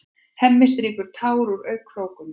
Hemmi strýkur tár úr augnakrókunum.